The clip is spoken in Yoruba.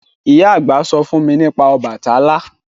Ìyá àgbà sọ fún nípa Ọbàtálá